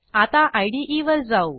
आता इदे वर जाऊ